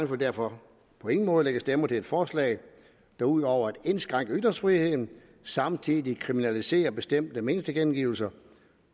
vil derfor på ingen måde lægge stemmer til et forslag der ud over at indskrænke ytringsfriheden samtidig kriminaliserer bestemte meningstilkendegivelser